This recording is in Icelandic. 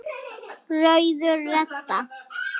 Rauður og Redda